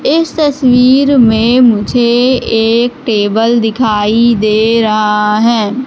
इस तस्वीर में मुझे एक टेबल दिखाई दे रहा है।